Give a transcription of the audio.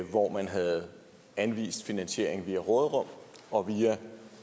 hvor man havde anvist finansieringen via råderum og via